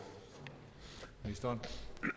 ministeren